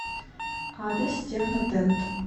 адрес технотент